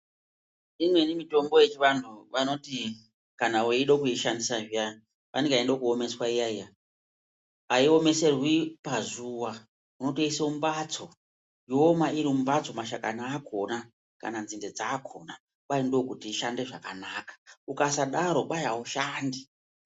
Imweni mitombo yechivandu vanoti kana wide kuishandisa zviyani fanike inode kuomeswa iyaa iyaa haiomeserwi pazuva unitoise mumbatso yooma iri mumbatso mashakani akona kana nzinde dzakona ndokuti ishande zvakanaka ukasadaro haishandi.